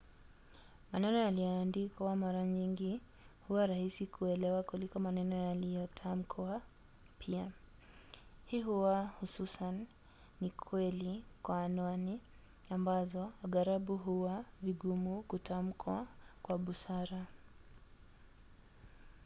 maneno yaliyoandikwa mara nyingi huwa rahisi kuelewa kuliko maneno yaliyotamkwa pia. hii huwa hususan ni kweli kwa anwani ambazo aghalabu huwa vigumu kutamkwa kwa busara